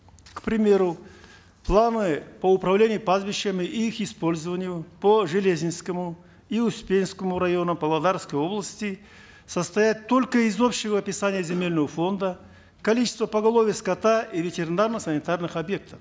к примеру планы по управлению пастбищами и их использованию по железинскому и успенскому районам павлодарской области состоят только из общего описания земельного фонда количества поголовья скота и ветеринарно санитарных объектов